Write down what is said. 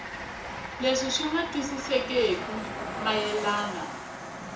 leswi swi nga twisisekeki mayelana